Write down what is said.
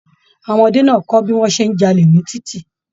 Àwọn ọmọdé náà kọ bí wọn ṣe n j'alè ní titi.